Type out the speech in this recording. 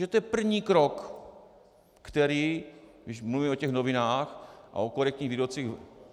Že to je první krok, který, když mluvíme o těch novinách a o korektních výrocích.